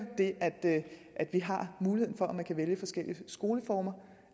det at vi har muligheden for at man kan vælge forskellige skoleformer og